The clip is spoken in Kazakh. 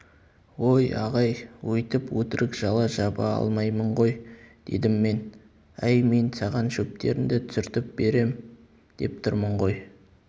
ой ағай өйтіп өтірік жала жаба алмаймын ғой дедім мен әй мен саған шөптеріңді түсіртіп берем деп тұрмын ғой